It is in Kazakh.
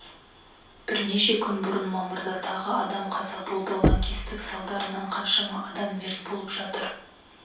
бірнеше күн бұрын мамырда тағы адам қаза болды лаңкестік салдарынан қаншама адам мерт болып жатыр